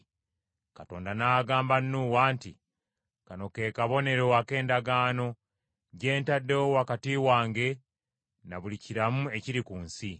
Katonda n’agamba Nuuwa nti, “Kano ke kabonero ak’endagaano gye ntaddewo wakati wange ne buli kiramu ekiri ku nsi.”